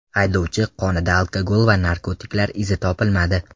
Haydovchi qonida alkogol va narkotiklar izi topilmadi.